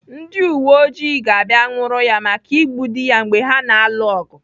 Ndị uweojii ga-abịa nwụrụ ya maka igbu dị ya mgbe ha na-alụ ọgụ.